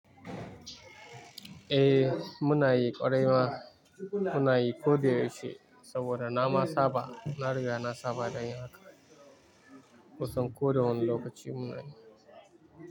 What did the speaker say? Eh, muna yi ƙwarai ma, muna yi ko da yausehi saboda na ma saba, na riga na saba da yin haka. Kusanwane lokaci munayi.